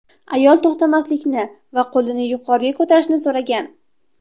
Ayol to‘xtamaslikni va qo‘lini yuqoriga ko‘tarishni so‘ragan.